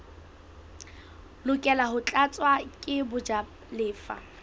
lokela ho tlatswa ke bajalefa